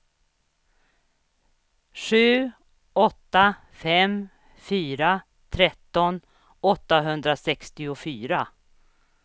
sju åtta fem fyra tretton åttahundrasextiofyra